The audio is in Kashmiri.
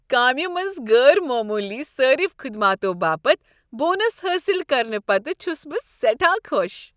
کامہ منٛز غٲر معموٗلی صٲرِف خدماتو باپتھ بونس حٲصل کرنہٕ پتہٕ چھس بہٕ سٮ۪ٹھاہ خۄش۔